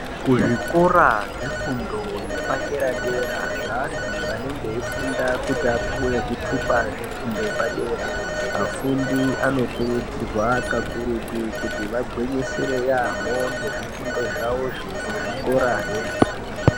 Kuzvikora zvefundo yepadera dera zveantu vanenge veifunda kuti apuhwe zve fundo yepadera afundi anokurudzirwa kakurutu kuti agwinyisire yaamho ngezvifundo zvavozvo kuzvikurayo